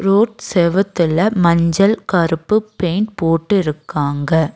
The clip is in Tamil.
ரோட் செவுத்துல மஞ்சள் கருப்பு பெயிண்ட் போட்டு இருக்காங்க.